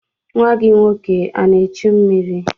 Nwa gị nwoke ana echu mmiri?